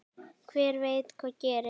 Hver veit hvað gerist?